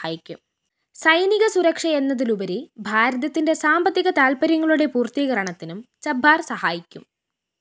സൈനിക സുരക്ഷയെന്നതിലുപരി ഭാരതത്തിന്റെ സാമ്പത്തിക താല്‍പര്യങ്ങളുടെ പൂര്‍ത്തീകരണത്തിനും ചബ്ബാര്‍ സഹായിക്കും